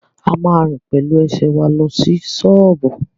A ma rìn pẹ̀lú ẹsẹ̀ wa lọ sí ṣọ́ọ̀bú